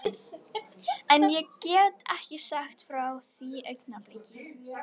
Það var fínasta koníak: Napóleon, flauelsmjúkt.